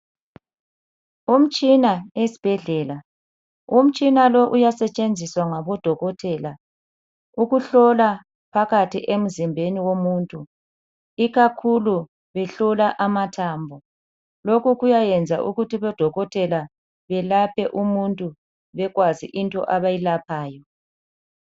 Umtshina esibhedlela, umtshina lowu uyasetshenziswa ngabodokothela . Ukuhlola phakathi emzimbeni womuntu, ikakhulu behlola amathambo. Lokhu kuyayenza ukuthi odokothela belaphe umuntu bekwazi into abayilaphayo.